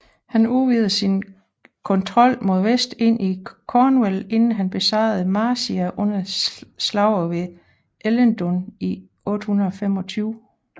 Han udvidede sin kontrol mod vest ind i Cornwall inden han besejrede Marcia under slaget ved Ellendun i 825